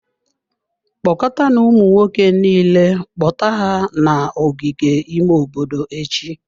Kpọkọtanụ ụmụ nwoke niile, kpọta ha n'ogige ime obodo echi.